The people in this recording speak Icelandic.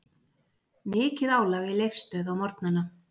Mikið álag í Leifsstöð á morgnana